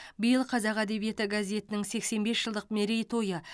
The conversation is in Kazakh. биыл қазақ әдебиеті газетінің сексен бес жылдық мерей тойы